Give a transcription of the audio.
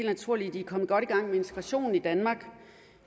naturlige at de er kommet godt i gang med integrationen i danmark